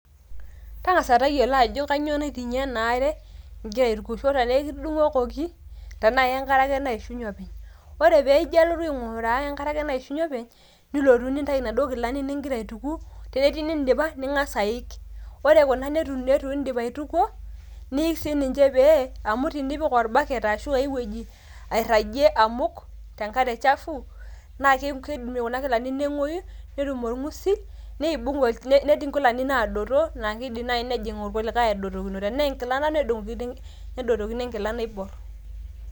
tang'asa tayiolo ajo kainyoo naiting'ie ena aare igira aitukisho tenaa ekitudung'okoki tenaa ke nkare ake naishunye openy, Ore piijalotu aing'uraa enkare ake naishunye openy, nilotu nintayu naduo kilani nigira aituku, tenetii nin'dipa ning'as aik, ore kuna neitu neitu iin'dip aitukuo niik sii ninche pee ,amu tinipik orbaket ashu aiwueji airagie amuk te nkare chafu naa keii keidim kuna kilani neng'oyu, netum orng'usil niebung ol,, netii nkilani naadoto naa keidim naai nijing kulikae aadotokino, tenaa enkila ena nedung'okino nedotokino enkila naibor.